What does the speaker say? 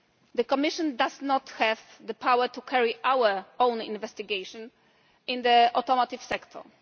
The Commission does not have the power to carry out our own investigation in the automotive sector.